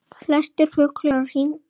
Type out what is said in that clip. Flestir fuglar á hring